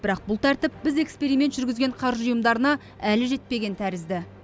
бірақ бұл тәртіп біз эксперимент жүргізген қаржы ұйымдарына әлі жетпеген тәрізді